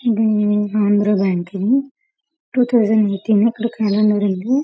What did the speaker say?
హ్మ్మ్ ఇది Andhra bank two thousand eighteen --